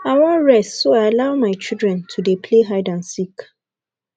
i wan rest so i allow my children to dey play hide and seek